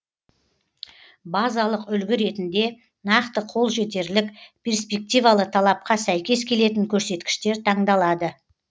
базалық үлгі ретінде нақты қолжетерлік перспективалы талапқа сәйкес келетін көрсеткіштер таңдалады